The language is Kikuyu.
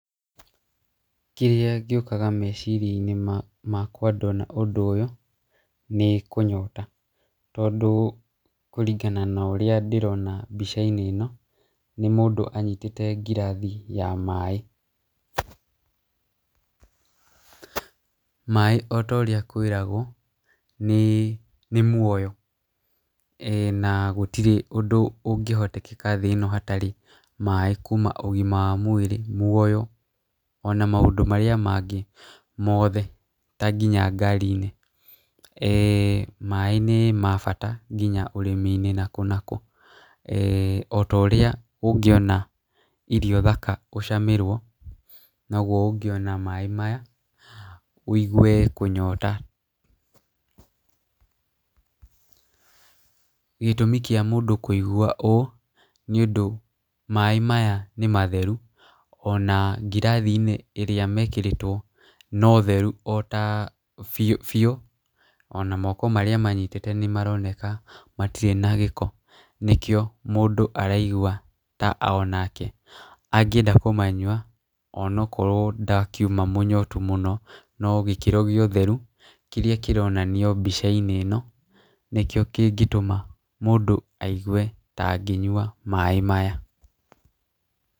Kĩrĩa gĩũkaga meciria-inĩ makwa ndona ũndũ ũyũ, kũnyota, tondũ kũringana na ũrĩa ndĩrona mbica-inĩ ĩno, nĩ mũndũ anyitĩte ngirathi ya maaĩ, maaĩ ota ũrĩa kwĩragwo nĩ nĩ muoyo , na gũtirĩ ũndũ ũngĩhotekeka thĩ ĩno hatarĩ maaĩ, kuuma ũgima wa mwĩrĩ, muoyo , ona maũndũ marĩa mangĩ mothe ta nginya ngari-inĩ, eh maaĩ nĩ ma bata nginya ũrĩmi-inĩ nakũ nakũ, eh ota ũrĩa ũngĩona irio thaka ũcamĩrwo , nogwo ũngĩona maaĩ maya wĩigwe kũnyota, gĩtũmi kĩa mũndũ kũigwa ũũ, nĩ ũndũ maaĩ maya nĩ matheru, ona ngirathi-inĩ iria mekĩrĩtwo, no theru ota biũ biũ , ona moko marĩa manyitĩte nĩmaroneka matirĩ na gĩko, nĩ kĩo mũndũ araigua onake angĩenda kũmanyua ,ona akorwo ndakiuma mũnyotu mũno , no gĩkĩro gĩa ũtheru kĩrĩa kĩronanio mbica-inĩ ĩno, nĩ kĩo kĩngĩtũma mũndũ aigwe ta angĩnyua maaĩ maya.